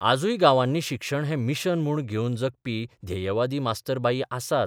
आजूय गांवांनी शिक्षण हें मिशन म्हूण घेवन जगपी ध्येयवादी मास्तर बाई आसात.